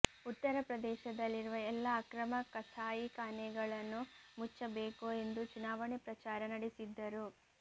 ಉತ್ತರಪ್ರದೇಶದಲ್ಲಿರುವ ಎಲ್ಲ ಅಕ್ರಮ ಕಸಾಯಿ ಖಾನೆಗಳನ್ನು ಮುಚ್ಚಬೇಕು ಎಂದು ಚುನಾವಣೆ ಪ್ರಚಾರ ನಡೆಸಿದ್ದರು